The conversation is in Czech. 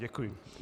Děkuji.